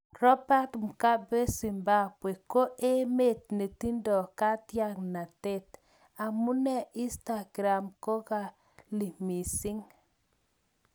Robert Mugabe 'Zimbambwe koemet netindo katyangnatet' amune Instagram kokali mising.